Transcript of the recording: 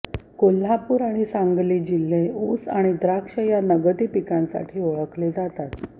कोल्हापूर आणि सांगली हे जिल्हे ऊस आणि द्राक्ष या नगदी पिकांसाठी ओळखले जातात